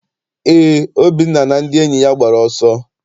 Eé, Obinna na ndị enyi ya gbara ọsọ.